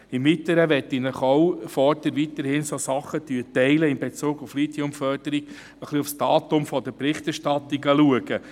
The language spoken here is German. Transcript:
Des Weiteren bitte ich Sie, bevor Sie weiterhin solche Dinge in Bezug auf Lithiumförderung teilen, auf das Datum der Berichterstattungen zu achten.